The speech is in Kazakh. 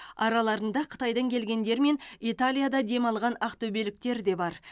араларында қытайдан келгендер мен италияда демалған ақтөбеліктер де бар